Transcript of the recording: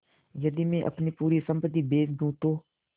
यदि मैं अपनी पूरी सम्पति बेच दूँ तो